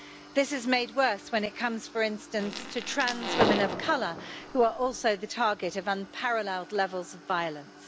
This is made worse when it comes, for instance, to trans women of colour who are also the target of unparalleled levels of violence.